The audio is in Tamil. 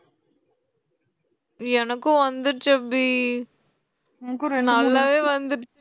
எனக்கும் வந்துருச்சுஅபி நல்லாவே வந்துடுச்சு